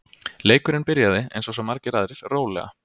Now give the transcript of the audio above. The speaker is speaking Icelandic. Leikurinn byrjaði, eins og svo margir aðrir, rólega.